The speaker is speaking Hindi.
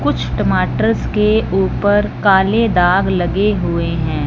कुछ टमाटरस के ऊपर काले दाग लगे हुए हैं।